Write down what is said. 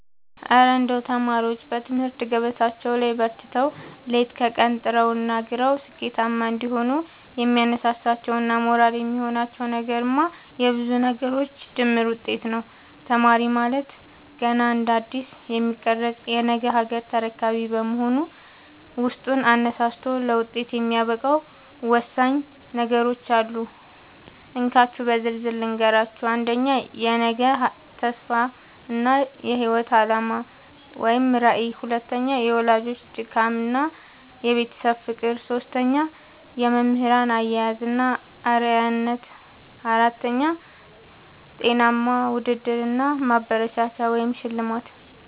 እረ እንደው ተማሪዎች በትምህርት ገበታቸው ላይ በርትተው፣ ሌት ከቀን ጥረውና ግረው ስኬታማ እንዲሆኑ የሚያነሳሳቸውና ሞራል የሚሆናቸው ነገርማ የብዙ ነገሮች ድምር ውጤት ነው! ተማሪ ማለት ገና እንደ አዲስ የሚቀረጽ የነገ ሀገር ተረካቢ በመሆኑ፣ ውስጡን አነሳስቶ ለውጤት የሚያበቃው ወሳኝ ነገሮች አሉ፤ እንካችሁ በዝርዝር ልንገራችሁ - 1. የነገ ተስፋ እና የህይወት አላማ (ራዕይ) 2. የወላጆች ድካምና የቤተሰብ ፍቅር 3. የመምህራን አያያዝ እና አርአያነት (Role Model) 4. ጤናማ ውድድር እና ማበረታቻ (ሽልማት)